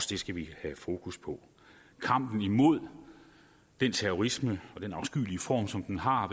det skal vi have fokus på kampen imod den terrorisme og den afskyelige form som den har